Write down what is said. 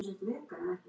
Ekki til.